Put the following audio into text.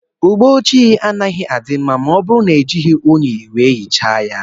Ụgbọ ojii anaghị adị mma ma ọ bụrụ na ejighi ụnyi wee hichaa ya.